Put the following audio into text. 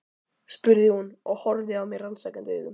spurði hún og horfði á mig rannsakandi augum.